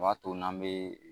U b'a to n' an bɛ